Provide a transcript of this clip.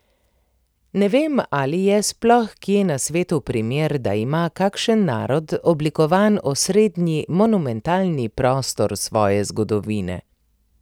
Ne vem, ali je sploh kje na svetu primer, da ima kakšen narod oblikovan osrednji, monumentalni prostor svoje zgodovine.